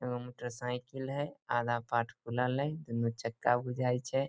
एगो motorcycle हेय आधा पार्ट खुलल हेय दुनो चक्का बुझाय छै।